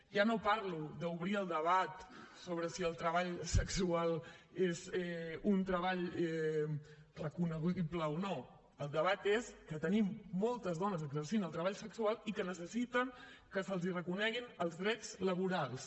ja no parlo d’obrir el debat sobre si el treball sexual és un treball recognoscible o no el debat és que tenim moltes dones que exerceixen el treball sexual i que necessiten que se’ls reconeguin els drets laborals